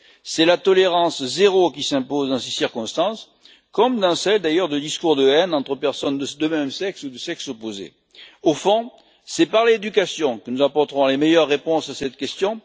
C'est la tolérance zéro qui s'impose dans ces circonstances, comme dans celles, d'ailleurs, de discours de haine entre personnes de même sexe ou de sexe opposé. Au fond, c'est par l'éducation que nous apporterons les meilleures réponses à cette question.